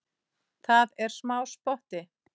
Það er smá spotti.